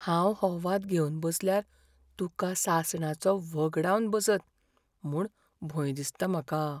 हांव हो वाद घेवन बसल्यार तुका सासणाचो व्हगडावन बसत म्हूण भंय दिसता म्हाका.